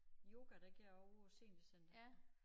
Yoga det går jeg ovre på seniorcentret